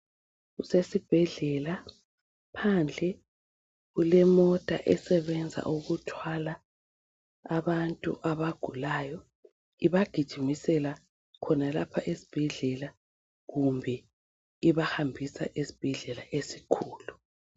Kusesibhedlela, phandle kulemota esebenza ukuthwala abantu abagulayo. Ibagijimisela khonalapha esibhedlela kumbe ibahambisa ezibhedlela ezikhulu.